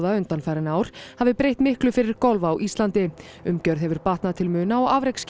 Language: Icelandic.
undanfarin ár hafi breytt miklu fyrir golf á Íslandi umgjörð hefur batnað til muna og